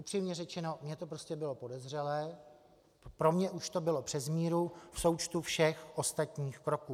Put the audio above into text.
Upřímně řečeno, mně to prostě bylo podezřelé, pro mě už to bylo přes míru v součtu všech ostatních kroků.